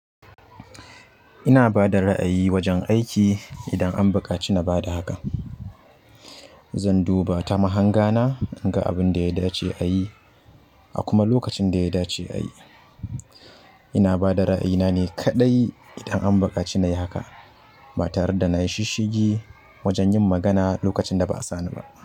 Ina bada ra'ayi wajen aiki idan an buƙaci na bada hakan. Zan duba ta mahangana in ga abin da ya dace a yi a kuma lokacin da ya dace a yi. Ina bada ra'ayina ne kaɗai idan an buƙaci na yi haka ba tare da na yi shisshigi wajen yin magana lokacin da ba a sa ni ba.